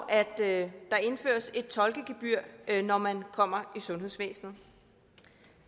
at der indføres et tolkegebyr når man kommer i sundhedsvæsenet